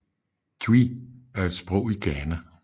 Twi er et sprog i Ghana